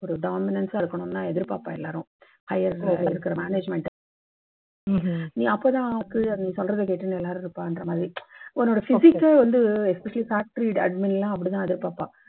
ஒரு dominance சா இருக்கணும்னு தான் எதிர்பார்ப்பாங்க எல்லாரும் higher management அப்போ தான் கீழ சொல்றதை கேட்டுண்டு எல்லாரும் இருப்பாங்கற மாதிரி உன்னோட physic கே வந்து especially factory admin னா அப்பிடித் தான் எதிர்பார்ப்பா.